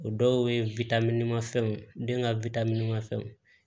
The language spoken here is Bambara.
O dɔw ye mafɛnw ye den ka ma fɛnw